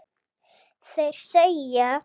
Þeir segja